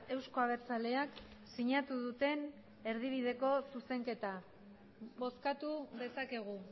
euzko abertzaleak sinatu duten erdibideko zuzenketa bozkatu dezakegu